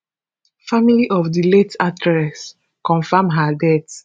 family of di late actress confam her death